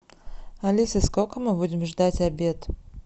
алиса сколько мы будем ждать обед